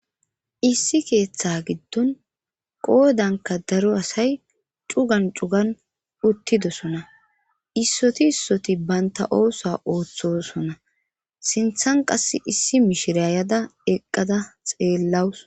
Issi keeththa giddon qoodanka daro asay cugan cugan uttidosona issoti issoti baynta oosa ooththosona sinthan qass issi mishirayada eqqada xeellawus